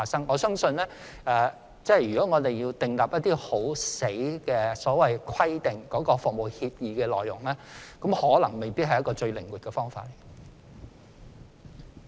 我相信，如要訂立一些強硬的規則來規定服務協議的內容，未必是一個最靈活的方法。